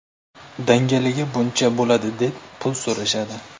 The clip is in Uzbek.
Dangaliga buncha bo‘ladi deb, pul so‘rashadi.